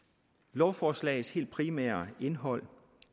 lovforslagets helt primære indhold